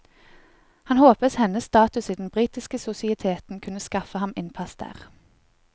Han håpet hennes status i den britiske sosieteten kunne skaffe ham innpass der.